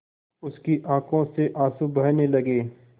उसकी आँखों से आँसू बहने लगे